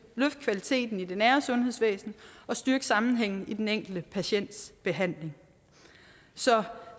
løfte kvaliteten i det nære sundhedsvæsen og styrke sammenhængen i den enkelte patients behandling så